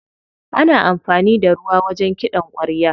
Ana amfani da ruwa wajen kiɗan ƙwarya.